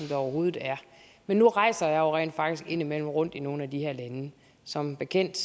der overhovedet er men nu rejser jeg jo rent faktisk indimellem rundt i nogle af de her lande som bekendt